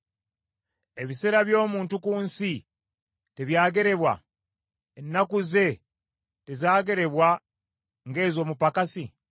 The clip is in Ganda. “Ebiseera by’omuntu ku nsi, tebyagerebwa? Ennaku ze tezaagerebwa nga ez’omupakasi?